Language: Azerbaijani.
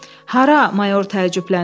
Hara, mayor təəccübləndi.